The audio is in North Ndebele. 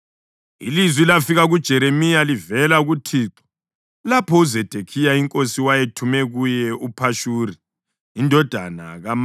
Ilizwi lafika kuJeremiya livela kuThixo lapho uZedekhiya inkosi wayethume kuye uPhashuri indodana kaMalikhija lomphristi uZefaniya indodana kaMaseya. Bathi: